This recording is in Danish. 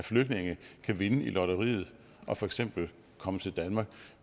af flygtninge kan vinde i lotteriet og for eksempel komme til danmark